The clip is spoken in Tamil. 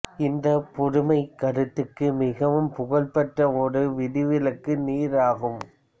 இந்த பொதுமைக் கருத்துக்கு மிகவும் புகழ்பெற்ற ஒரு விதிவிலக்கு நீர் ஆகும்